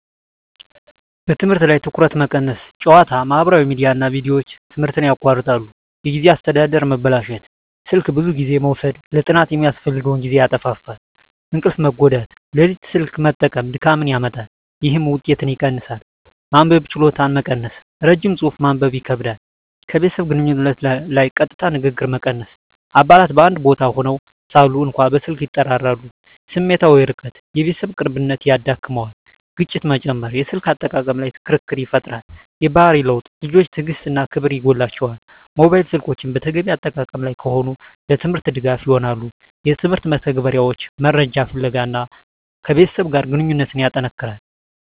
በትምህርት ላይ ትኩረት መቀነስ ጨዋታ፣ ማህበራዊ ሚዲያ እና ቪዲዮዎች ትምህርትን ያቋርጣሉ። የጊዜ አስተዳደር መበላሸት ስልክ ብዙ ጊዜ መውሰድ ለጥናት የሚያስፈልገውን ጊዜ ያጣፋፋል። እንቅልፍ መጎዳት ሌሊት ስልክ መጠቀም ድካምን ያመጣል፣ ይህም ውጤትን ይቀንሳል። መንበብ ችሎታ መቀነስ ረጅም ጽሑፍ ማንበብ ይከብዳል። ከቤተሰብ ግንኙነት ላይ ቀጥታ ንግግር መቀነስ አባላት በአንድ ቦታ ሆነው ሳሉ እንኳ በስልክ ይጠራራሉ። ስሜታዊ ርቀት የቤተሰብ ቅርብነት ይዳክመዋል። ግጭት መጨመር የስልክ አጠቃቀም ላይ ክርክር ይፈጠራል። የባህሪ ለውጥ ልጆች ትዕግሥት እና ክብር ይጎላቸዋል። ሞባይል ስልኮች በተገቢ አጠቃቀም ላይ ከሆኑ፣ ለትምህርት ድጋፍ ይሆናሉ (የትምህርት መተግበሪያዎች፣ መረጃ ፍለጋ) እና ከቤተሰብ ጋር ግንኙነትን ያጠነክራል።